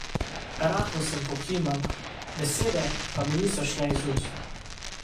Rahlo sem pokimala, besede pa mi niso šle iz ust.